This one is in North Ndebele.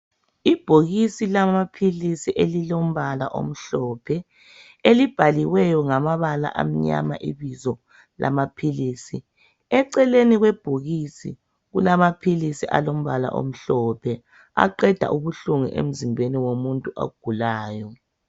Ibhokisi lamaphilisi elilombala omhlophe, elibhaliweyo ngamabala amnyama ibizo lamaphilisi. Eceleni kwebhokisi kulamaphilisi alombala omhlophe aqeda ubuhlungu emzimbeni womuntu ogulayo.